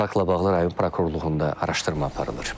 Faktla bağlı rayon prokurorluğunda araşdırma aparılır.